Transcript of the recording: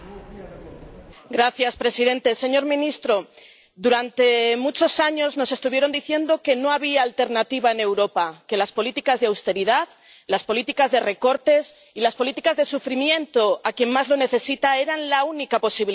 Señor presidente, señor primer ministro, durante muchos años nos estuvieron diciendo que no había alternativa en Europa, que las políticas de austeridad, las políticas de recortes y las políticas de sufrimiento que han afectado a los más necesitados eran la única posibilidad.